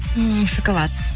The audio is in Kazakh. ммм шоколад